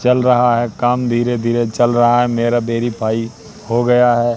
चल रहा है काम धीरे-धीरे चल रहा है मेरा वेरीफाई हो गया है।